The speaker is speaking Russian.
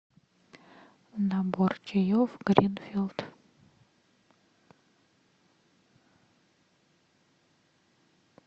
набор чаев гринфилд